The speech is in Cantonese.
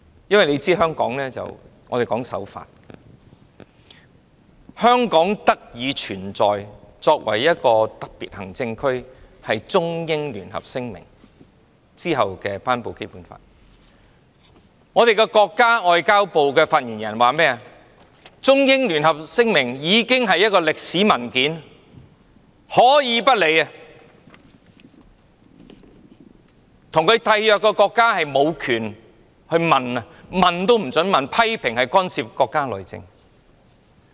大家都知道，香港主張守法，香港特別行政區的基礎是落實《中英聯合聲明》的《基本法》，但國家外交部發言人說，《聲明》是一份歷史文件，可以不予理會，《聲明》的締約國也無權詢問，批評那是干預國家內政。